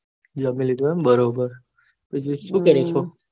જામી લીધું એમ બરોબર, પછી સુ કરે છે.